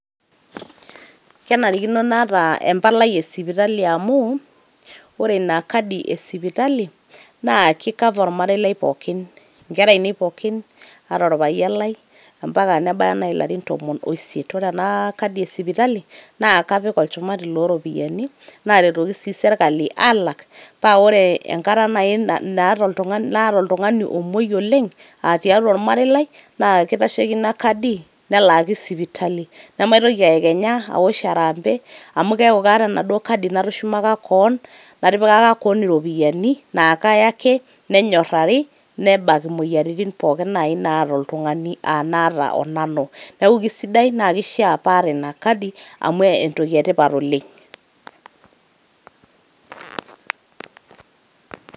Kenarikino naata empalai e sipitali amu ore ina kadi e sipitali naa ki cover ormarei lai pookin ,inkera aine pookin ata orpayian lai ompaka nebaya nai ilarin tomon osiet . ore ena kadi e sipitali naa kapik olchumati loropiyiani ,naretoki sii sirkali alak pa ore enkata nai naata oltungani omwoi oleng tiatua ormarei lai naa kitasheiki ina kadi nelaaki sipitali . nemaitoki aekenya aosh harambee amu keaku kaata enaduoo kadi natushumaka kewon ,natipikaka kewon iropiyiani na kaya ake nenyorari ,nebak imoyiaritin pookin nai naata oltungani onaata onanu . niaku kisidai naa kishaa paata ina kadi amu entoki etipat oleng .